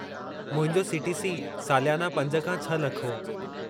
मुंहिंजो सी.टी.सी.सालियानो पंज खां छह लख हो।